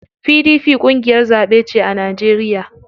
PDP ƙungiyar zaɓe ce a Najeriya.